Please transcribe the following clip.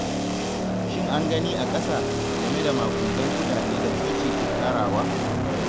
Shin an gani a ƙasa, game da maƙudan kuɗaɗen da coci ke tarawa.